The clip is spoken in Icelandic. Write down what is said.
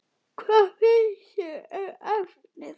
Hvað finnst þér um efnið?